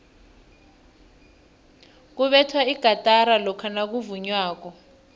kubethwa igatara lokha nakuvunywako